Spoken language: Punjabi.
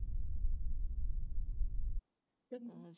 ਚੰਗੀ